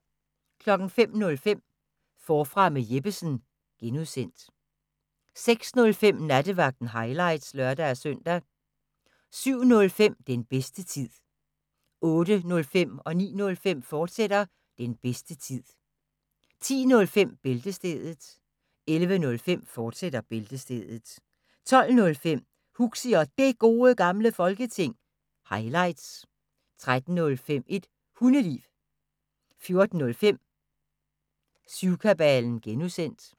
05:05: Forfra med Jeppesen fortsat (G) 06:05: Nattevagten – highlights (lør-søn) 07:05: Den bedste tid 08:05: Den bedste tid, fortsat 09:05: Den bedste tid, fortsat 10:05: Bæltestedet 11:05: Bæltestedet, fortsat 12:05: Huxi og Det Gode Gamle Folketing – highlights 13:05: Et Hundeliv 14:05: Syvkabalen (G)